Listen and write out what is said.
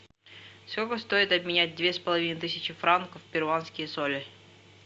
сколько стоит обменять две с половиной тысячи франков в перуанские соли